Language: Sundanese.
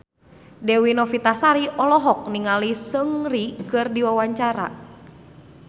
Dewi Novitasari olohok ningali Seungri keur diwawancara